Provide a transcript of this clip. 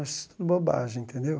Acho tudo bobagem, entendeu?